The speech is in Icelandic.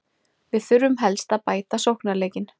Við þurfum helst að bæta sóknarleikinn.